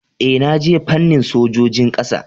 Ee, na je fannin sojojin kasa